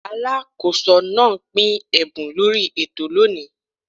Alákóso náà pín ẹ̀bùn lórí ètò lóni.